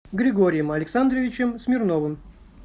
григорием александровичем смирновым